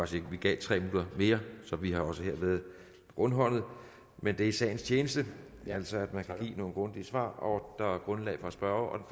sige at vi gav tre minutter mere så vi har også her været rundhåndede men det er i sagens tjeneste ja altså at man kan give nogle grundige svar og der er grundlag for at spørge